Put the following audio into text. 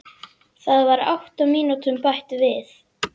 Það var átta mínútum bætt við